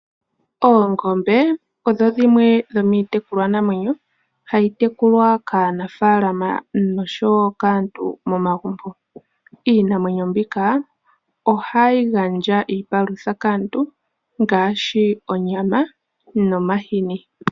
Oongombe odho dhimwe dhomiitekulwa namwenyo, ha yi tekulwa kaanafaalama osho wo kaantu momagumbo. Iinamwenyo mbika, oha yi gandja iipalutha, kaantu ngaashi onyama nomahini.